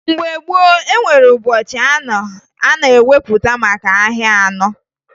Mgbe gboo, e nwere ụbọchị anọ e wepụtara maka ahịa anọ